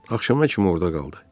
Axşama kimi orda qaldı.